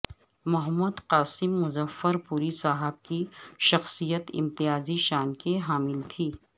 محمد Qasim Muzaffarpuri صاحب کی شخصیت امتیازی شان کی حامل تھی